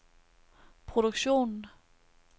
produktionen